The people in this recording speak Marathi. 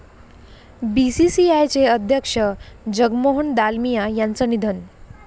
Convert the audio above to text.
बीसीसीआयचे अध्यक्ष जगमोहन दालमिया यांचं निधन